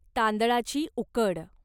तांदळाची उकड